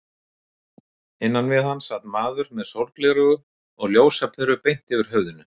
Innan við hann sat maður með sólgleraugu og ljósaperu beint yfir höfðinu.